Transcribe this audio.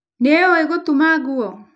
Nĩ ũĩ gũtuma nguo?